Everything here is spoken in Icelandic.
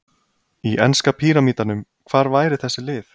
Í enska píramídanum, hvar væru þessi lið?